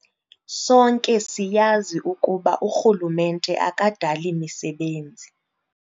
"Sonke siyazi ukuba urhulumente akadali misebenzi."